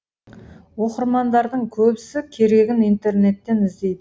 оқырмандардың көбісі керегін интернетттен іздейді